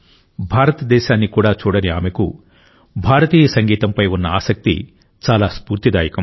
భారతదేశాన్ని కూడా చూడని ఆమెకు భారతీయ సంగీతంపై ఉన్న ఆసక్తి చాలా స్ఫూర్తిదాయకం